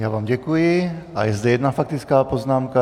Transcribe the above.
Já vám děkuji a je zde jedna faktická poznámka.